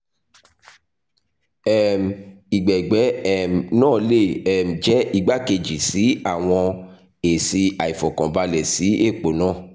um ìgbẹ̀gbẹ́ um naa le um jẹ igbakeji si awọn esi aifọkanbalẹ si epo naa